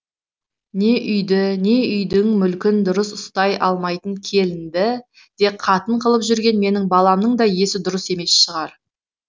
не үйді не үйдің мүлкін дұрыс ұстай алмайтын келінді де қатын қылып жүрген менің баламның да есі дұрыс емес шығар